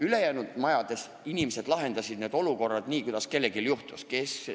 Sinna jäänud inimesed lahendasid olukorra nii, kuidas juhtus.